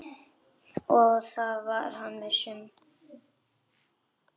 Það var hann viss um.